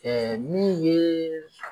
min ye